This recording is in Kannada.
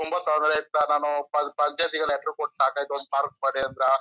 ನಾನು ಪಂಚಾಯ್ತಿಗೆ ಲೆಟರ್ ಕೊಟ್ಟು ಸಾಕಾಯ್ತು ಒಂದ್ ಪಾರ್ಕ್ ಮಾಡಿ ಅಂತ--